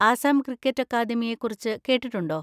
Assam cricket അക്കാദമിയെ കുറിച്ച് കേട്ടിട്ടുണ്ടോ?